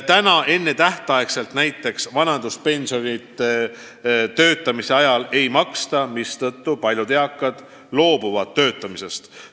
Praegu ennetähtaegset vanaduspensioni töötamise ajal ei maksta, mistõttu paljud eakad loobuvad töötamisest.